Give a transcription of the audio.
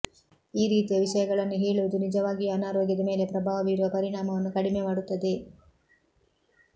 ಈ ರೀತಿಯ ವಿಷಯಗಳನ್ನು ಹೇಳುವುದು ನಿಜವಾಗಿಯೂ ಅನಾರೋಗ್ಯದ ಮೇಲೆ ಪ್ರಭಾವ ಬೀರುವ ಪರಿಣಾಮವನ್ನು ಕಡಿಮೆ ಮಾಡುತ್ತದೆ